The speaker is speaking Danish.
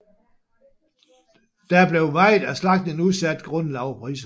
Da blev meget af slagtningen udsat grundet lave priser